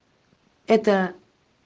это